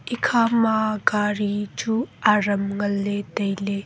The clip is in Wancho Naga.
ekha ma gari chu adam nganley tailey.